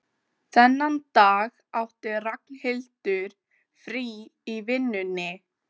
Dálítið svipaður Tyrkjum, lítill og snaggaralegur, með stórt kónganef.